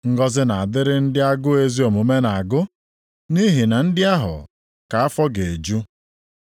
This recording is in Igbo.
Ngọzị na-adịrị ndị agụụ ezi omume na-agụ, nʼihi na ndị ahụ ka afọ ga-eju.